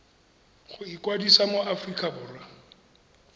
go ikwadisa mo aforika borwa